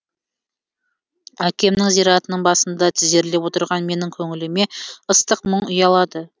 әкемнің зиратының басында тізерлеп отырған менің көңіліме ыстық мұң ұялады